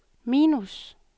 minus